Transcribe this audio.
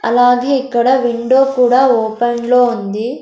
అలాగే ఇక్కడ విండో కూడా ఓపెన్ లో ఉంది.